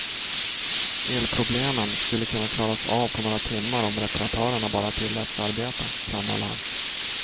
Elproblemen skulle kunna klaras av på några timmar om reparatörerna bara tilläts arbeta, framhöll han.